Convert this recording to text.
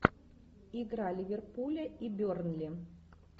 игра ливерпуля и бернли